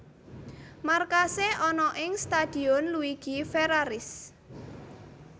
Markase ana ing Stadion Luigi Ferraris